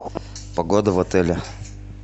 погода в отеле